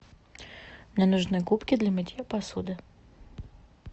мне нужны губки для мытья посуды